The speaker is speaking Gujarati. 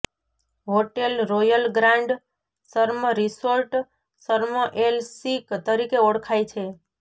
hotel royal grand Sharm resort Sharm el Sheikh તરીકે ઓળખાય છે